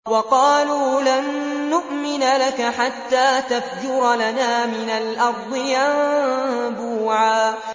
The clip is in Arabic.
وَقَالُوا لَن نُّؤْمِنَ لَكَ حَتَّىٰ تَفْجُرَ لَنَا مِنَ الْأَرْضِ يَنبُوعًا